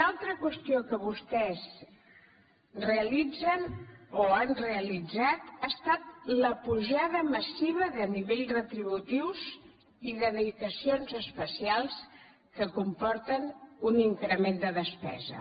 una altra qüestió que vostès realitzen o han realitzat ha estat la pujada massiva de nivells retributius i de dedicacions especials que comporten un increment de despesa